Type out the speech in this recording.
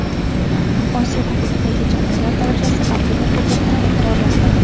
Osiyo Kubogidagi jamoalar darajasi Afrika Kubogidan yuqoriroq turadi.